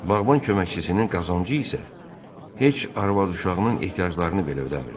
Bağban köməkçisinin qazancı isə heç arvad uşağının ehtiyaclarını belə ödəmir.